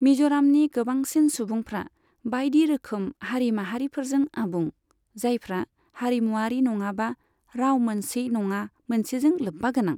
मिज'रामनि गोबांसिन सुबुंफ्रा बायदि रोखोम हारि माहारिफोरजों आबुं, जायफ्रा हारिमुआरि नङाबा राव मोनसे नङा मोनसेजों लोब्बागोनां।